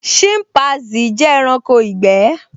Ṣínpasì jẹ́ ẹranko ìgbẹ́